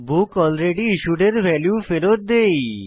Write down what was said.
বুকলরেডিস্যুড এর ভ্যালু ফেরৎ দেই